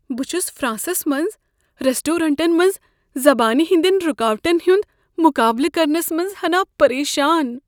بہٕ چھس فرانسس منز ریسٹورینٹن منز زبانہ ہندین رکاوٹن ہند مقابلہٕ کرنس منز ہناہ پریشان۔